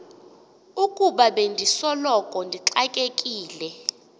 ukuba bendisoloko ndixakekile